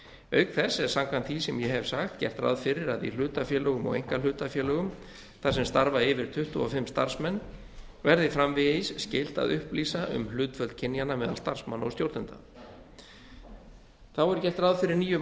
auk þess er samkvæmt því sem ég hef sagt gert ráð fyrir að í hlutafélögum og einkahlutafélögum þar sem starfa yfir tuttugu og fimm starfsmenn verði framvegis skylt að upplýsa um hlutföll kynjanna meðal starfsmanna og stjórnenda þá er gert ráð fyrir nýjum